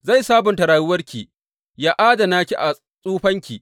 Zai sabunta rayuwarki yă adana ki a tsufanki.